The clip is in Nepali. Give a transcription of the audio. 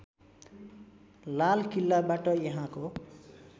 लाल किल्लाबाट यहाँको